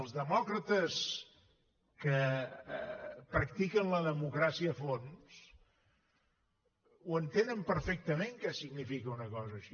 els demòcrates que practiquen la democràcia a fons entenen perfectament què significa una cosa així